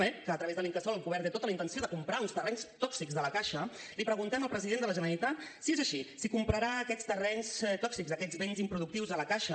bé que a través de l’incasòl el govern té tota la intenció de comprar uns terrenys tòxics de la caixa li preguntem al president de la generalitat si és així si comprarà aquests terrenys tòxics aquests béns improductius de la caixa